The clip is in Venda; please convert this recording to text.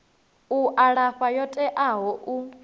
u alafha yo teaho u